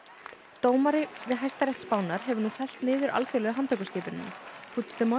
dómari við Hæstarétt Spánar hefur nú fellt niður alþjóðlegu handtökuskipunina